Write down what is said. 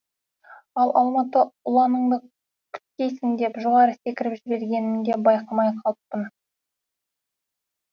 ал алматы ұланыңды күткейсің деп жоғары секіріп жібергенімді байқамай қалыппын